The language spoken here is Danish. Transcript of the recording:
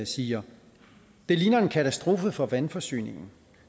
siger det ligner en katastrofe for vandforsyningen